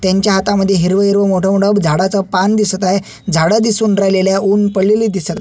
त्यांच्या हातामध्ये हिरव हिरव मोठ मोठ झाडच पान दिसत आहे झाड दिसून राहिलेले आहे उन पडलेलं दिस--